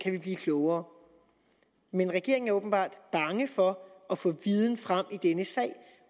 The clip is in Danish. vi kan blive klogere men regeringen er åbenbart bange for at få viden frem i denne sag